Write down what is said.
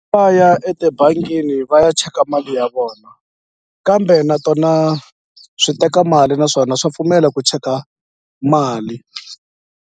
Va ya etibangini va ya cheka mali ya vona kambe na tona swi teka mali naswona swa pfumela ku cheka mali.